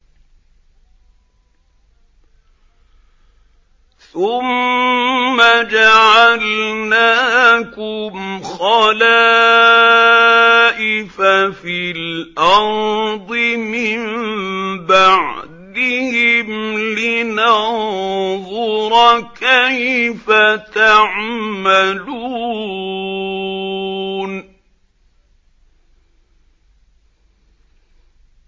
ثُمَّ جَعَلْنَاكُمْ خَلَائِفَ فِي الْأَرْضِ مِن بَعْدِهِمْ لِنَنظُرَ كَيْفَ تَعْمَلُونَ